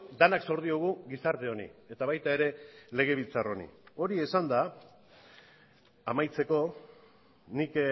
denak zor diogu gizarte honi eta baita ere legebiltzar honi hori esanda amaitzeko nik